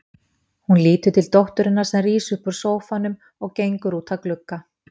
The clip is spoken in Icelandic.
Hún lítur til dótturinnar sem rís upp úr sófanum og gengur út að glugga.